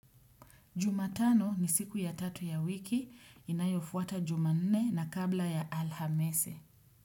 Juma tano ni siku ya tatu ya wiki, inayofuata jumanne na kabla ya alhamisi.